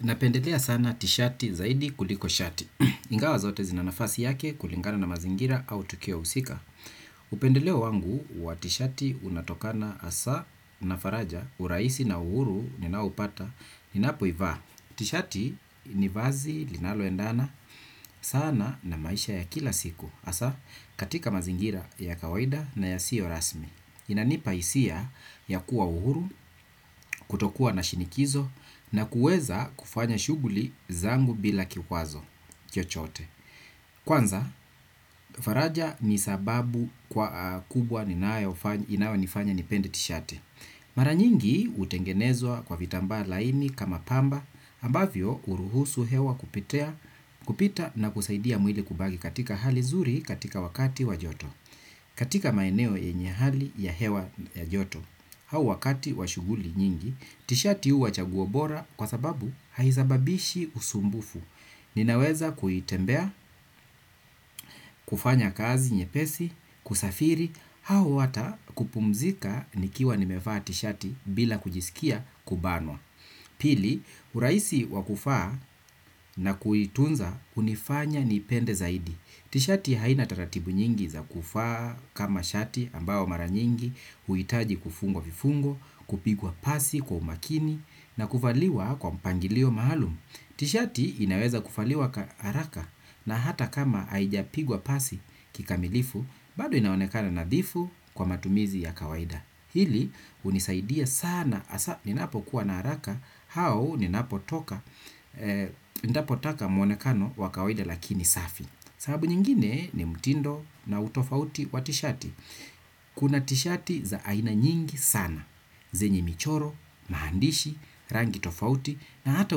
Napendelea sana tishati zaidi kuliko shati. Ingawa zote zina nafasi yake kulingana na mazingira au tukio husika. Upendeleo wangu wa tishati unatokana hasa na faraja urahisi na uhuru ninaoupata ni napoivaa. Tishati ni vazi linalo endana sana na maisha ya kila siku. Hasa katika mazingira ya kawaida na yasiyo rasmi. Inanipa hisia ya kuwa uhuru, kutokua na shinikizo na kuweza kufanya shughuli zangu bila kikwazo, chochote. Kwanza, faraja ni sababu kubwa inayonifanya nipende tishati. Mara nyingi hutengenezwa kwa vitambaa laini kama pamba ambavyo huruhusu hewa kupita na kusaidia mwili kubaki katika hali zuri katika wakati wa joto. Katika maeneo ye nye hali ya hewa ya joto, au wakati wa shuguli nyingi, tishati huwa chaguo bora kwa sababu haisababishi usumbufu. Ninaweza kutembea, kufanya kazi, nyepesi, kusafiri, au ata kupumzika nikiwa nimevaa tishati bila kujisikia kubanwa. Pili, urahisi wa kufaa na kuitunza hunifanya nipende zaidi. Tishati haina taratibu nyingi za kuvaa kama shati ambao mara nyingi, huitaji kufungwa vifungo, kupigwa pasi kwa umakini na kuvaliwa kwa mpangilio maaalum. Tishati inaweza kuvaliwa haraka na hata kama haijapigwa pasi kikamilifu bado inaonekana nadhifu kwa matumizi ya kawaida. Hili hunisaidia sana hasa nina pokuwa na haraka au ninapo toka nitapotaka mwonekano wakawaida lakini safi. Sababu nyingine ni mtindo na utofauti wa tishati. Kuna tishati za aina nyingi sana. Zenye michoro, maandishi, rangi tofauti na hata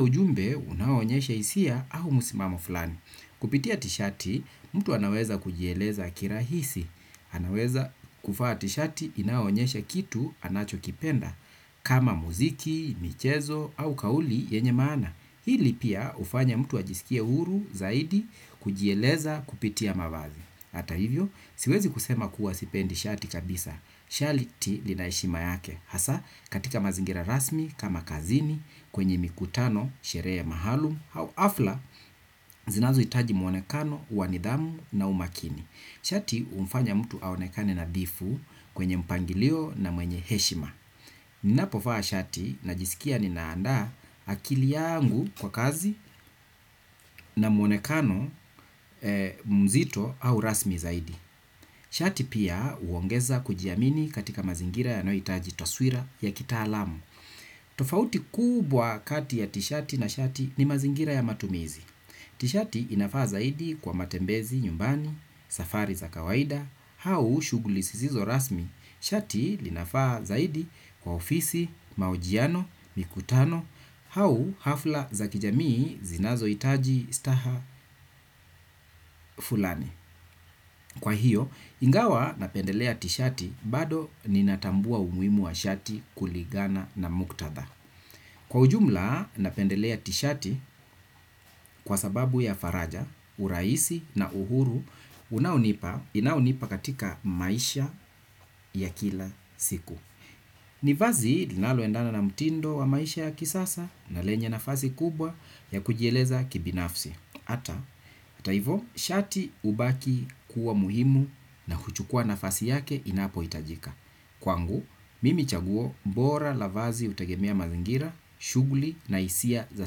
ujumbe unaonyesha hisia au msimamo fulani. Kupitia tishati, mtu anaweza kujieleza kirahisi. Anaweza kuvaa tishati inaonyesha kitu anacho kipenda. Kama muziki, michezo au kauli yenye maana. Hili pia hufanya mtu ajisikie huru zaidi kujieleza kupitia mavazi. Hata hivyo, siwezi kusema kuwa sipendi shati kabisa, shati lina heshima yake, hasa katika mazingira rasmi, kama kazini, kwenye mikutano, sherehe maalumu, au hafla, zinazo hitaji muonekano, wa nidhamu na umakini. Shati humfanya mtu aonekane nadhifu kwenye mpangilio na mwenye heshima. Ninapo vaa shati najisikia ninaanda akili yangu kwa kazi na muonekano mzito au rasmi zaidi. Shati pia huongeza kujiamini katika mazingira yanayohitaji taswira ya kitaalamu. Tofauti kubwa kati ya tishati na shati ni mazingira ya matumizi. Tishati inafaa zaidi kwa matembezi, nyumbani, safari za kawaida, au shughuli zisizo rasmi. Shati inafaa zaidi kwa ofisi, mahojiano, mikutano, au hafla za kijamii zinazo hitaji staha fulani. Kwa hiyo, ingawa napendelea tishati bado ninatambua umuhimu wa shati kulingana na muktadha. Kwa ujumla napendelea tishati kwa sababu ya faraja, urahisi na uhuru, unaonipa, inaonipa katika maisha ya kila siku. Ni vazi linalo endana na mtindo wa maisha ya kisasa na lenye nafazi kubwa ya kujieleza kibinafsi. Hata hivyo, shati hubaki kuwa muhimu na kuchukua nafasi yake inapo itajika. Kwangu, mimi chaguo bora la vazi hutegemia mazingira, shughuli na hisia za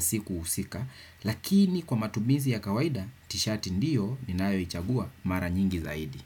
siku husika, lakini kwa matumizi ya kawaida, tishati ndiyo ninayo ichagua mara nyingi zaidi.